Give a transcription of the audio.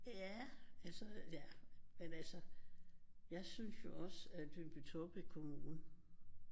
Ja altså ja men altså jeg synes jo også at Lyngby-Taarbæk kommune